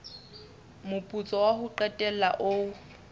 moputso wa ho qetela o